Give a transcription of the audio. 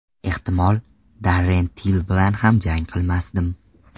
Ehtimol, Darren Till bilan ham jang qilmasdim.